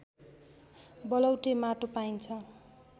बलौटे माटो पाइन्छ